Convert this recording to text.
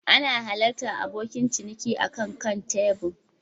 Ana halartar abokin ciniki akan kan tebur